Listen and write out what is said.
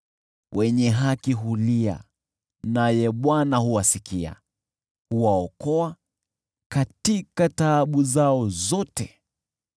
Wenye haki hulia, naye Bwana huwasikia, huwaokoa katika taabu zao zote.